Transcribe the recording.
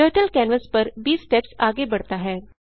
turtle canvas पर 20 steps आगे बढ़ता है